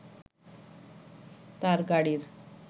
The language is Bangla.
তার গাড়ির